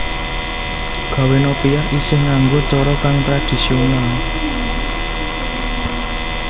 Gawè nopia isih nganggo cara kang tradisional